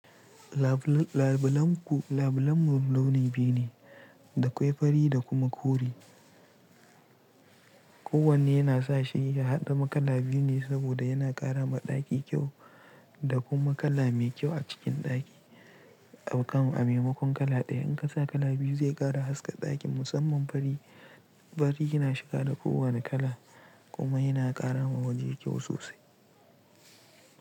Labilanmu launi biyu ne, da kwai fari da kuma kore. Kowanne yana sa shi ya haɗa ma kala biyu ne saboda yana ƙara ma ɗaki kyau da kuma kala mai kyau a cikin ɗaki. Ɗaukan a maimakon kala ɗaya in ka sa kala biyu zai ƙara haska ɗakin musamman fari, fari yana shiga da ko wane kala kuma yana ƙara ma waje kyau sosai.